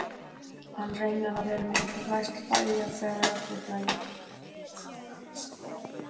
Hann reynir að vera með, læst hlæja þegar aðrir hlæja.